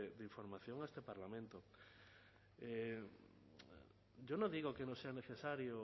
de información a este parlamento yo no digo que no sea necesario